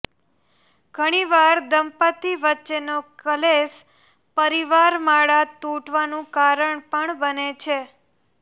ઘણીવાર દંપતિ વચ્ચેનો ક્લેશ પરીવાર માળા તુટવાનું કારણ પણ બને છે